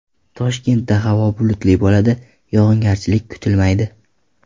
Toshkentda havo bulutli bo‘ladi, yog‘ingarchilik kutilmaydi.